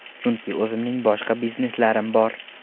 Chunki o‘zimning boshqa bizneslarim bor.